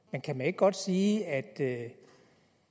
men kan man ikke godt sige at det